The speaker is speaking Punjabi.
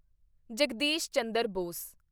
ਜਗਦੀਸ਼ ਚੰਦਰ ਬੋਸ